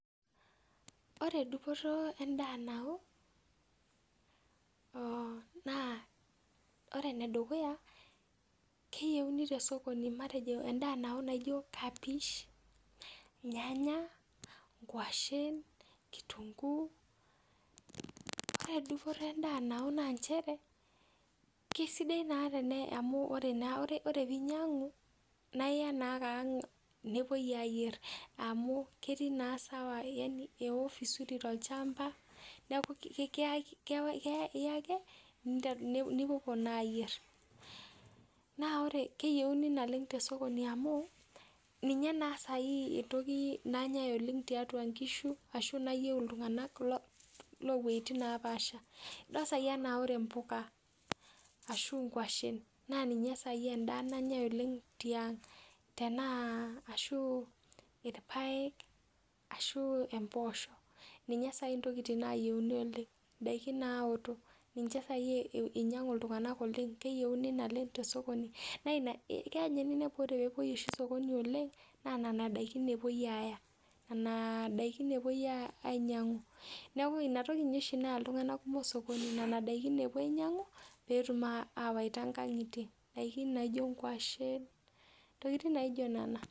Ore dupoto endaa nawo naa ore enedukuya, keyieuni te sokoni endaa nawo, matejo kapish, irnyanya, nkwashen, kitunguu. Ore dupoto endaa nawo naa nchere, kisidai naa amu ore piinyang'u naa iya naa ake ang' nepwoi ayierr amu ketii naa sawa amu yani ewo vizuri tolchamba neeku iya ake, nepwoi naa aayierr. Naa keyieuni te sokoni naleng amu ninye naa saai entoki nanyae oleng tiatwa nkishu nayieu iltung'anak loo wueitin naapaasha. Idol saai enaa ore mbuka ashu nkwashen naa ninye saai endaa nanyae oleng tiang'. Tenaa, ashuu irpaek, ashuu emboosho. Ninye saai intokiting nayieuni oleng, indaiki naawotok. Ninche saai inyang'u iltung'anak oleng, kinyang'uni naleng te sokoni naa ina keya ninye ninepu tenepwoi sokoni oleng naa nena daikin epwoi aaya. Nena daikin epwoi ainyang'u. Neeku inatoki ninye oshi naya iltung'anak kumok sokoni, nena daikin epwo ainyang'u peetum awaita inkang'itie. Indaiki naijo nkwashen, intokiting naijo nena